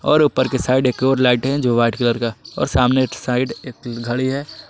और ऊपर की साइड एक और लाइट है जो वाइट कलर का और सामने एक साइड एक घड़ी है।